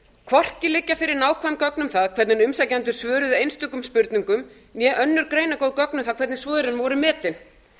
hvorki liggja fyrir nákvæm gögn um það hvernig umsækjendur svöruðu einstökum spurningum né önnur greinargóð gögn um það hvernig svörin voru metin